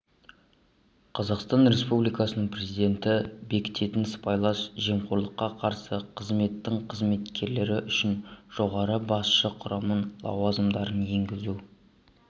қазақстан республикасының президенті бекітетін сыбайлас жемқорлыққа қарсы қызметтің қызметкерлері үшін жоғары басшы құрамның лауазымдарын енгізу